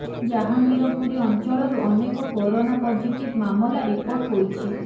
ଜାହାଙ୍ଗୀରପୁରୀ ଅଞ୍ଚଳରୁ ଅନେକ corona positive ମାମଲା ରିପୋର୍ଟ ହୋଇଛି